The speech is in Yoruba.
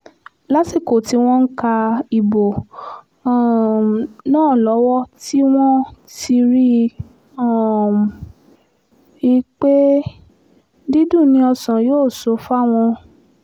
lásìkò tí wọ́n ń ka ìbò um náà lọ́wọ́ tí wọ́n ti rí um i pé dídùn ni ọ̀sán yóò sọ fáwọn